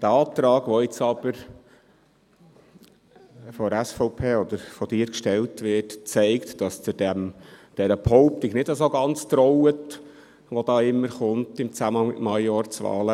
Der Antrag, wie er jetzt aber von der SVP oder von Ihnen, Madeleine Amstutz, gestellt wird, zeigt, dass Sie der Behauptung, wie sie im Zusammenhang mit Majorzwahlen immer wieder kommt, nicht ganz trauen.